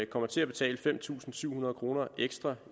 kommer til at betale fem tusind syv hundrede kroner ekstra